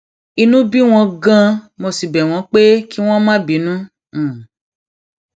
inú bí wọn ganan mo sì bẹ wọn pé kí wọn má bínú